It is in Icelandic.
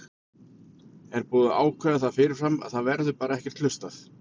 Er búið að ákveða það fyrirfram að það verði bara ekkert hlustað?